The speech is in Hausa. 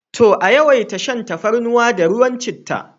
To! a yawaita shan tafarnuwa da ruwan chittah.